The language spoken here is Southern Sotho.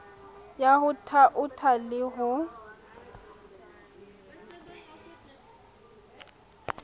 ya ho thaotha le ho